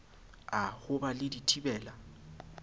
a ho ba le dithibela